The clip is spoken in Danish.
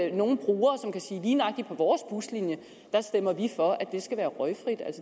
ikke nogen brugere som kan sige at lige nøjagtigt på vores buslinje stemmer vi for at det skal være røgfrit